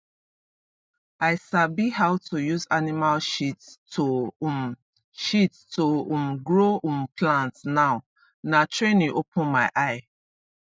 i sabi how to use animal shit to um shit to um grow um plant now na training open my eye